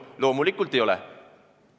Loomulikult ei ole.